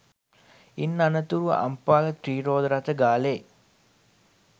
ඉන් අනතුරුව අම්පාර ත්‍රී රෝද රථ ගාලේ